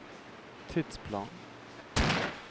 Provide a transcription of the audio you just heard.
tidsplan